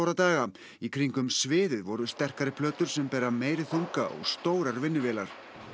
daga en í kringum sviðið voru sterkari plötur sem bera meiri þunga og stórar vinnuvélar